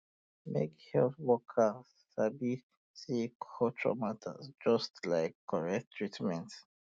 make um um health workers um sabi say culture matter just um like correct treatment